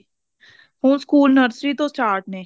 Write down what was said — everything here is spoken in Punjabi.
ਹੁਣ ਸਕੂਲ nursery ਤੋਂ start ਨੇ